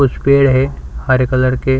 कुछ पेड़ है हरे कलर के--